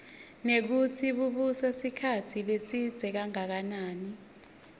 nekutsi bubusa sikhatsi lesidze kangakanani